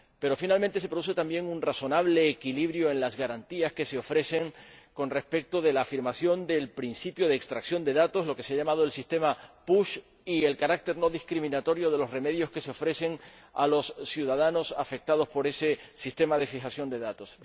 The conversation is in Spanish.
Pero, finalmente, se produce también un razonable equilibrio en las garantías que se ofrecen con respecto de la afirmación del principio de extracción de datos lo que se ha llamado el sistema PUSH y el carácter no discriminatorio de los remedios que se ofrecen a los ciudadanos afectados por ese sistema de fijación de datos.